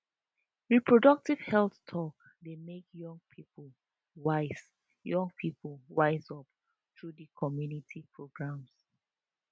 reproductive health talk dey make young people wise young people wise up through di community programs